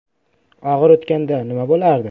Og‘ir o‘tganda nima bo‘lardi?